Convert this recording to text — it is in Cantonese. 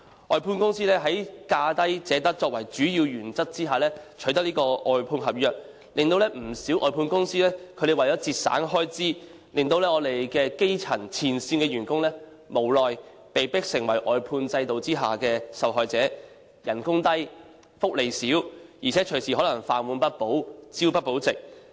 外判公司在"價低者得"作為主要原則下取得外判合約，不少外判公司為了節省開支，令前線基層員工無奈被迫成為外判制度下的受害者。他們工資低、福利少，而且可能隨時飯碗不保，朝不保夕。